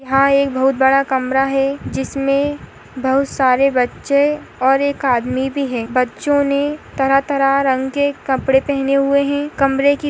हां एक बहुत बड़ा कमरा है जिसमें बहुत सारे बच्चे और एक आदमी भी है बच्चों ने तरह-तरह रंग के कपड़े पहने हुए हैं कमरे की--